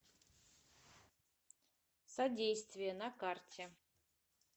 содействие на карте